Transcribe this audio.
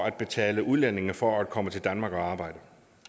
at betale udlændinge for at komme til danmark og arbejde